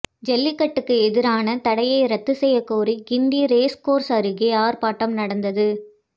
ஜல்லிக்கட்டுக்கு எதிரான தடையை ரத்து செய்யக் கோரி கிண்டி ரேஸ்கோர்ஸ் அருகே ஆர்ப்பாட்டம் நடந்தது